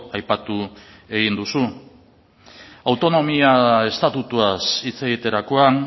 aipatu egin duzu autonomia estatutuaz hitz egiterakoan